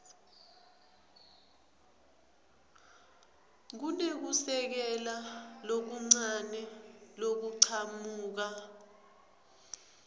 kunekusekela lokuncane lokuchamuka